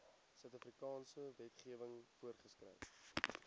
suidafrikaanse wetgewing voorgeskryf